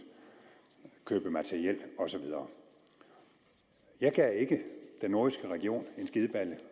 køb af materiel og så videre jeg gav ikke den nordjyske region en skideballe